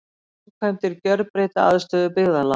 Framkvæmdir gjörbreyta aðstöðu byggðarlaga